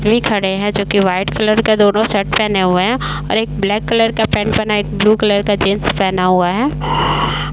खड़े हैं जो कि वाइट कलर का दोनों शर्ट पहने हुए हैं और एक ब्लैक कलर का पेंट पहना है। एक ब्लू कलर का जीन्स पहना हुआ है।